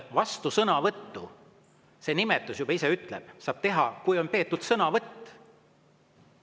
Vastusõnavõttu – see nimetus juba ise ütleb – saab teha, kui on peetud sõnavõtt.